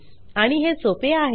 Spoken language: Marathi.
आणि हे सोपे आहे